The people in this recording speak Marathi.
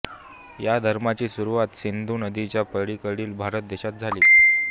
या धर्माची सुरुवात सिंधू नदीच्या पलीकडील भारत देशात झाली